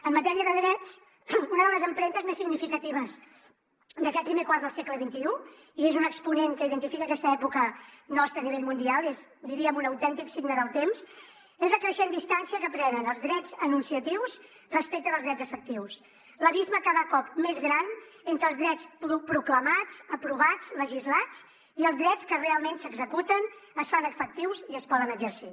en matèria de drets una de les empremtes més significatives d’aquest primer quart del segle xxi i és un exponent que identifica aquesta època nostra a nivell mundial i és diríem un autèntic signe del temps és la creixent distància que prenen els drets enunciatius respecte dels drets efectius l’abisme cada cop més gran entre els drets proclamats aprovats legislats i els drets que realment s’executen es fan efectius i es poden exercir